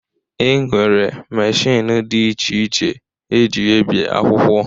E nwere machiin dị iche iche e ji ebi akwụkwọ